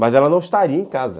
Mas ela não estaria em casa.